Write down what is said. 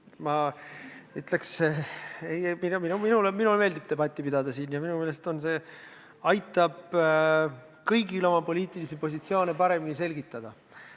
Ma ütleks, et minule meeldib siin debatti pidada ja minu meelest aitab see kõigil oma poliitilisi positsioone paremini selgitada.